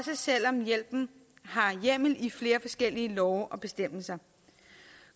selv om hjælpen har hjemmel i flere forskellige love og bestemmelser